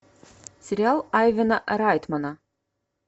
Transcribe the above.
сериал айвена райтмана